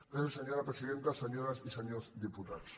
gràcies senyora presidenta senyores i senyors diputats